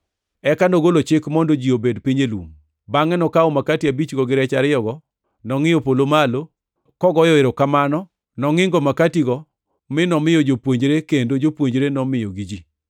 Eka nogolo chik mondo ji obed piny e lum. Bangʼe nokawo makati abichgo gi rech ariyogo, nongʼiyo polo malo, kogoyo erokamano. Nongʼingo makatigo mi nomiyo jopuonjre kendo jopuonjre nomiyogi ji.